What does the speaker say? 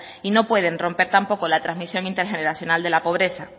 y no pueden romper tampoco la transmisión intergeneracional de la pobreza